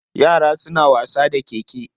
Yaran suna wasa da keke.